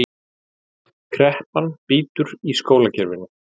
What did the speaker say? Kreppan bítur í skólakerfinu